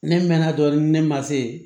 Ne mɛnna dɔɔnin ne ma se yen